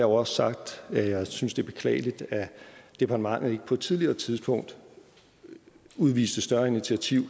også sagt at jeg synes det er beklageligt at departementet ikke på et tidligere tidspunkt udviste større initiativ